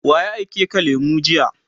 waye aike ka lemu jiya?